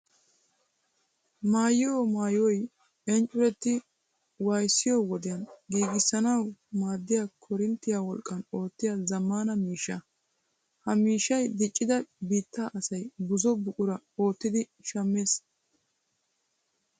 Maayiyo maayoy inccuretti wayssiyo wodiyan giigissanawu maaddiya koorinttiya wolqqan oottiya zammaana maashiiniya. Ha maashiiniya diccida biittaa asay buzo buqura oottidi shammees.